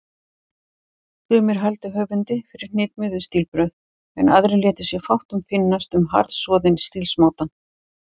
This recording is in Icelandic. Sumir hældu höfundi fyrir hnitmiðuð stílbrögð, en aðrir létu sér fátt finnast um harðsoðinn stílsmátann.